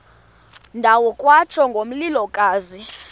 ndawo kwatsho ngomlilokazi